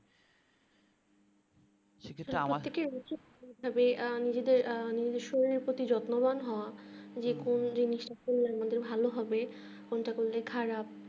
প্রত্যেক এরই উচিত তবে আ নিজের শরীরের প্রতি যত্নবান হওয়া যে কোন জিনিসটা করলে যে ভালো হবে কোনটা করলে খারাপ